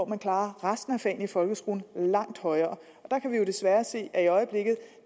man klarer resten af fagene i folkeskolen langt højere der kan vi jo desværre se at